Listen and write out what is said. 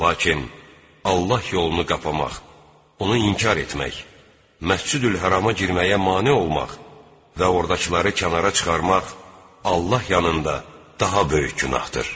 Lakin Allah yolunu qapamaq, onu inkar etmək, Məscidül-Hərama girməyə mane olmaq və ordakıları kənara çıxarmaq Allah yanında daha böyük günahdır.